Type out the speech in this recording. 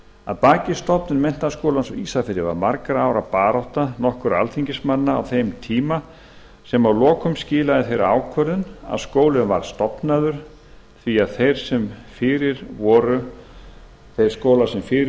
að baki stofnunar menntaskólans á ísafirði var margra ára barátta nokkurra alþingismanna sem að lokum skilaði því að skólinn var stofnaður því að þeir skólar sem fyrir